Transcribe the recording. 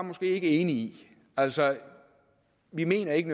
ikke enige i altså vi mener ikke